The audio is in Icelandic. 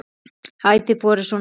Ætíð borið svona fram.